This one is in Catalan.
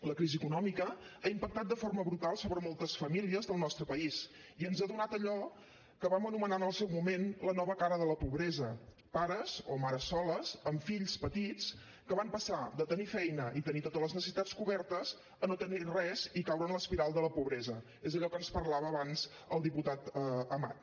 la crisi econòmica ha impactat de forma brutal sobre moltes famílies del nostre país i ens ha donat allò que vam anomenar en el seu moment la nova cara de la pobresa pares o mares soles amb fills petits que van passar de tenir feina i tenir totes les necessitats cobertes a no tenir res i caure en l’espiral de la pobresa és allò que ens parlava abans el diputat amat